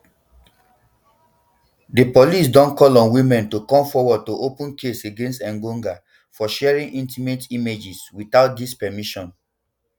di police don call on women to come forward to open case against engonga for sharing intimate images wit out dis permission